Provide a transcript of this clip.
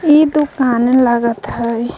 ई त पार्लर लागत हयीं.